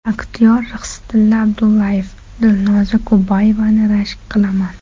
Aktyor Rixsitilla Abdullayev: Dilnoza Kubayevani rashk qilaman.